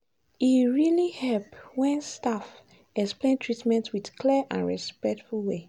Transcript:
e really help when staff explain treatment with clear and respectful way.